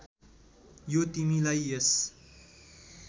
यो तिमीलाई यस